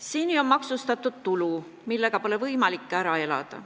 Seni on maksustatud ka tulu, millega pole võimalik ära elada.